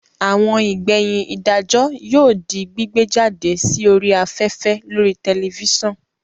Àwọn ìgbẹ̀yìn ìdájọ́ yóò di gbígbé jáde sí orí afẹ́fẹ́ lórii tẹlifísàn